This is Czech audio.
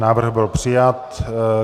Návrh byl přijat.